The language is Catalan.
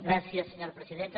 gràcies senyora presidenta